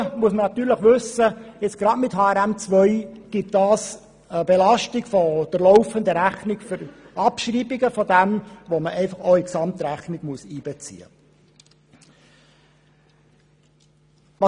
Zudem muss man wissen, dass sich mit HRM2 durch die Abschreibungen eine Belastung der laufenden Rechnung ergibt, welche in die Gesamtrechnung einzubeziehen ist.